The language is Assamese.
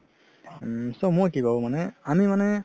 উম so মই কি ভাবো আমি মানে